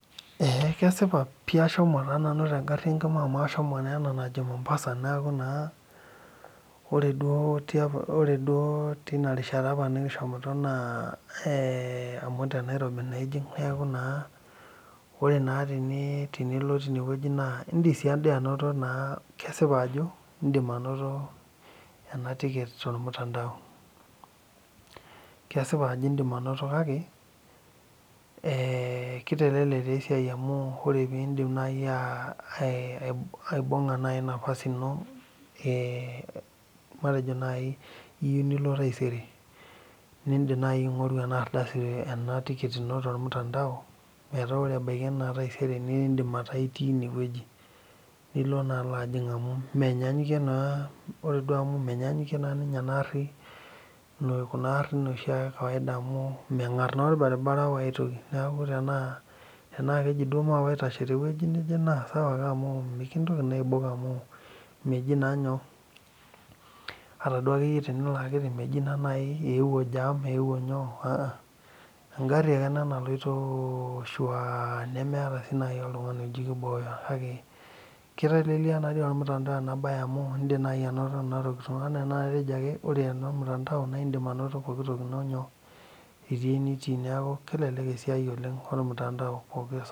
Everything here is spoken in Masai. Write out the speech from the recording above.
Eeeh kesipa piih ashomo tengari enkima amu ahomo ena najo Mombasa ore duo teina rishata nikishomoito naa amu tenairobi ijing neeku naa ore tenilo tine wueji naa indiim sii anoto naa kesipa ajo indim anoto ena tiket tormutandao kesipa ajo indiim anoto kake keitelelek taa esiai amu ore naaaji aibung'a naaji nafasi ino matejo iyieu nilo taisere nindiim aing'oru en tikit ino tormutandao meetaa ore ebaiki taisere naa indiim ataa itii ine wueji lino naa aaloo ajing amu menyaanyukie naa ore duo amu menyaanyukie naa ninye enaa aari kunaa arin ekawaida amu meng'ar naa orbaribara tenaa kejii duo maape aitaashe tewueji nejee naa sawa ake amu mikintoki naa aibok amu meji naa nyoo ata duake tenelo aki meji naa eeuo jam eeuo nyoo enkari ake naloito shuuaa nemeeta sii naaji oltung'ani oji keiboo amu keitelelia naadoi ormutandao amu indiim naaji anoto ore elemutandao naa indiim pookitoki ino itiii enitii neeku indiim anaoto pooki toki ino pooki saa.